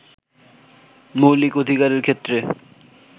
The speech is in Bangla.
মৌলিক অধিকারের ক্ষেত্রে